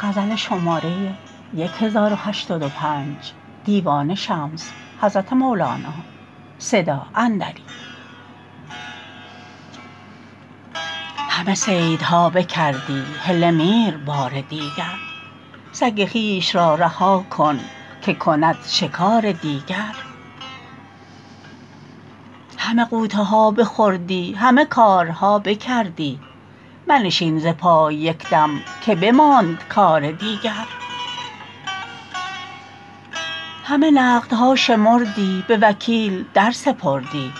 همه صیدها بکردی هله میر بار دیگر سگ خویش را رها کن که کند شکار دیگر همه غوطه ها بخوردی همه کارها بکردی منشین ز پای یک دم که بماند کار دیگر همه نقدها شمردی به وکیل در سپردی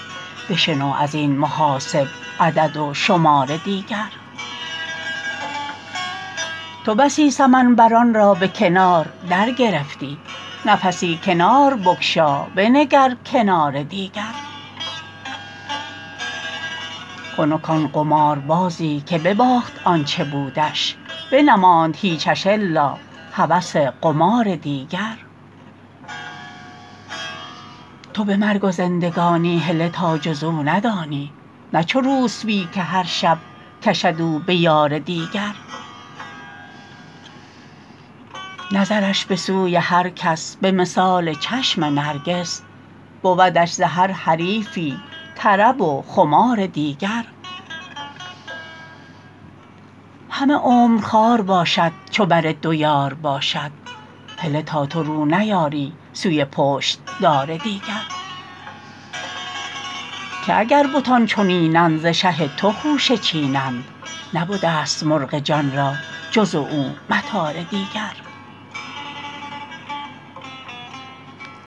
بشنو از این محاسب عدد و شمار دیگر تو بسی سمن بران را به کنار درگرفتی نفسی کنار بگشا بنگر کنار دیگر خنک آن قماربازی که بباخت آ ن چه بودش بنماند هیچش الا هوس قمار دیگر تو به مرگ و زندگانی هله تا جز او ندانی نه چو روسپی که هر شب کشد او به یار دیگر نظرش به سوی هر کس به مثال چشم نرگس بودش ز هر حریفی طرب و خمار دیگر همه عمر خوار باشد چو بر دو یار باشد هله تا تو رو نیاری سوی پشت دار دیگر که اگر بتان چنین اند ز شه تو خوشه چینند نبده ست مرغ جان را به جز او مطار دیگر